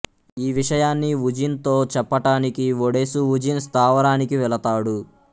ఈ విషయాన్ని వుజిన్ తో చెప్పటానికి ఒడేసు వుజిన్ స్థావరానికి వెళతాడు